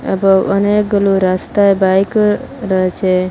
এবং অনেকগুলো রাস্তায় বাইকও রয়েছে।